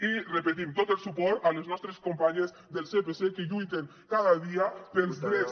i ho repetim tot el suport a les nostres companyes del sepc que lluiten cada dia pels drets